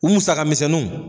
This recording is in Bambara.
U musaka misɛnnuw